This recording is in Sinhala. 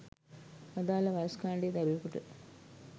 අදාළ වයස්‌ කාණ්‌ඩයේ දරුවෙකුට